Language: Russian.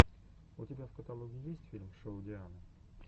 у тебя в каталоге есть фильм шоу дианы